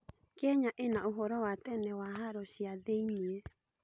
Kenya ĩna ũhoro wa tene wa haro cia thĩiniĩ.